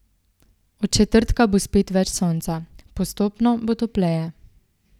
Od četrtka bo spet več sonca, postopno bo topleje.